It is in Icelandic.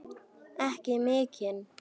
Ekki mikinn.